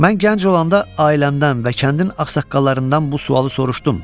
Mən gənc olanda ailəmdən və kəndin ağsaqqallarından bu sualı soruşdum.